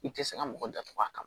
I tɛ se ka mɔgɔ datugu a kama